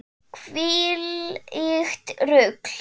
Hvílíkt rugl!